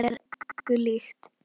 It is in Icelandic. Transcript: Það er engu líkt.